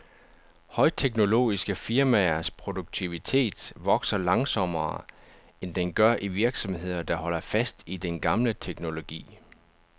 Højteknologiske firmaers produktivitet vokser langsommere, end den gør i virksomheder, der holder fast i den gamle teknologi.